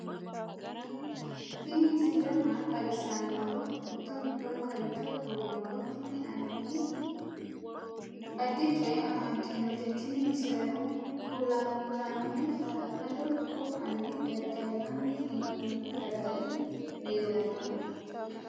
tini misile maa xawissannoro mito mittonkaricho kulummoro tini addi addicoy amaddinote tini misileno kultannori hala'lado dikko fanne dada'linanni hee'noni dadali leellannoe